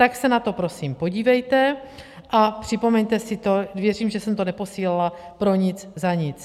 Tak se na to prosím podívejte a připomeňte si to, věřím, že jsem to neposílala pro nic za nic.